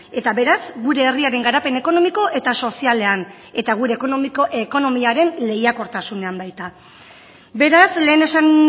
eta beraz gure herriaren garapen ekonomiko eta sozialean eta gure ekonomiaren lehiakortasunean baita beraz lehen esan